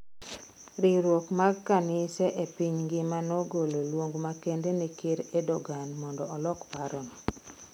Riwruok mag kanise e piny ng'ima ne ogolo luong makende ne Ker Erdogan mondo olok parono.